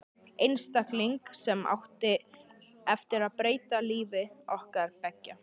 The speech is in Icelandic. Einstakling sem átti eftir að breyta lífi okkar beggja.